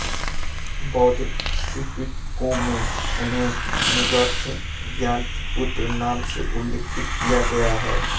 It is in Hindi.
बौद्ध त्रिपिटकों में उन्हें निर्ग्रथ ज्ञातृपुत्र नाम से उल्लिखित किया गया है